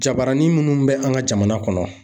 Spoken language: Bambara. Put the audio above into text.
Jabaranin minnu bɛ an ka jamana kɔnɔ